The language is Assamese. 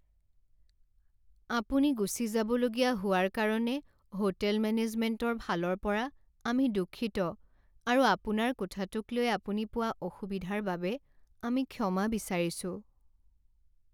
আপুনি গুচি যাবলগীয়া হোৱাৰ কাৰণে হোটেল মেনেজমেণ্টৰ ফালৰ পৰা আমি দুঃখিত আৰু আপোনাৰ কোঠাটোক লৈ আপুনি পোৱা অসুবিধাৰ বাবে আমি ক্ষমা বিচাৰিছোঁ।